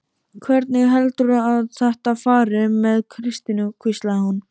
Hvernig heldurðu að þetta fari með Kristínu? hvíslaði hún.